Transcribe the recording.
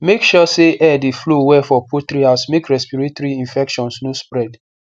make sure say air dey flow well for poultry house make respiratory infections no spread